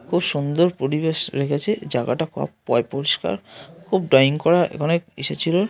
খুব সুন্দর পরিবেশ রেখেছে জায়গাটা পই পরিষ্কার খুব ড্রইং করা এখানে এসেছিল।